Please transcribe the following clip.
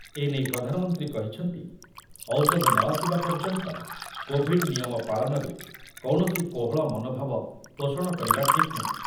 ଏନେଇ ପ୍ରଧାନମନ୍ତ୍ରୀ କହିଛନ୍ତି, ଔଷଧ ନ ଆସିବା ପର୍ଯ୍ୟନ୍ତ କୋଭିଡ୍ ନିୟମ ପାଳନରେ କୌଣସି କୋହଳ ମନୋଭାବ ପୋଷଣ କରିବା ଠିକ୍ ନୁହେଁ ।